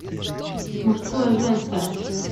мужское женское